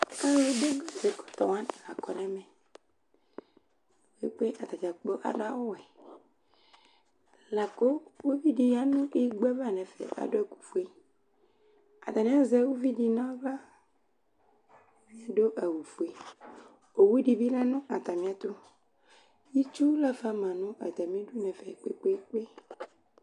Alʋ dʋ gaze–kɔtɔ wanɩ la kɔ nɛmɛ kpekpe atadzakplo adʋ awʋ wɛLakʋ uvi di ya nʋ igbo ava nɛfɛ adʋ ɛkʋ fueAtanɩ azɛ uvi dɩ naɣla ,uvi adʋ awʋ fueOwu dɩ bɩ lɛ nʋ atamɩɛtʋItsu lafa ma nʋ atamɩdu nɛfɛ kpekpekpe